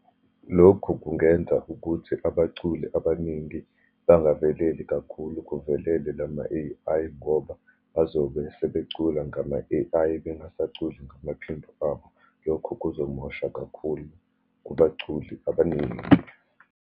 Lokhu kungenza ukuthi abaculi abaningi bangaveleli kakhulu, kuvelele lama-A_I, ngoba bazobe sebecula ngama-A_I, bengisaculi ngamaphimbo abo. Lokhu kuzomosha kakhulu kubaculi abaningi.